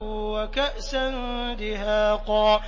وَكَأْسًا دِهَاقًا